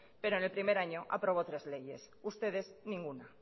pero en el primer año aprobó tres leyes ustedes ninguna